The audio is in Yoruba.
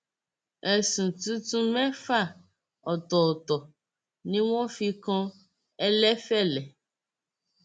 ẹsùn tuntun mẹfà ọtọọtọ ni wọn fi kan ẹlẹfẹlẹ